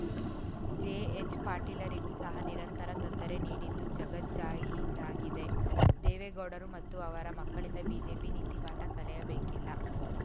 JH ಪಾಟೀಲರಿಗೂ ಸಹ ನಿರಂತರ ತೊಂದರೆ ನೀಡಿದ್ದು ಜಗಜ್ಜಾಹೀರಾಗಿದೆ ದೇವೇಗೌಡರು ಮತ್ತು ಅವರ ಮಕ್ಕಳಿಂದ ಬಿಜೆಪಿ ನೀತಿ ಪಾಠ ಕಲಿಯಬೇಕಿಲ್ಲ